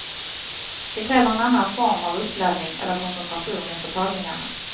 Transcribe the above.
Det kräver en annan form av uppladdning eller koncentration inför tagningarna.